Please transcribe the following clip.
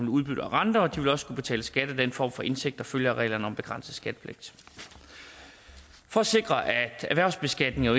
udbytte og renter og de vil også skulle betale skat af den form for indtægt der følger reglerne om begrænset skattepligt for at sikre at erhvervsbeskatningen